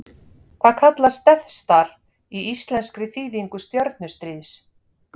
Hvað kallast Death Star í íslenskri þýðingu Stjörnustríðs?